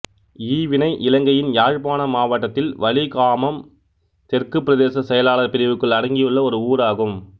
ஈவினை இலங்கையின் யாழ்ப்பாண மாவட்டத்தில் வலிகாமம் தெற்குப் பிரதேச செயலாளர் பிரிவுக்குள் அடங்கியுள்ள ஒரு ஊராகும்